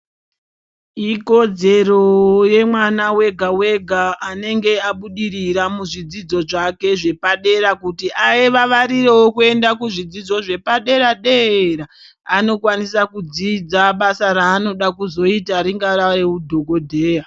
Ikodzero yemwana wega wega anenge abudirira muzvidzidzo zvake zvepadera kuti avavarirewo kuendawo kuzvidzidzo zvepadera dera anokwanisa kudzidza basa ranoda kuzoita ringava reudhokodheya.